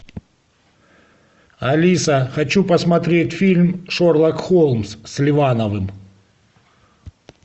алиса хочу посмотреть фильм шерлок холмс с ливановым